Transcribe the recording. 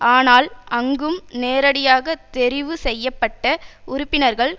ஆனால் அங்கும் நேரடியாக தெரிவு செய்ய பட்ட உறுப்பினர்கள்